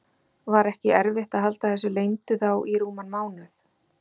Var ekki erfitt að halda þessu leyndu þá í rúman mánuð?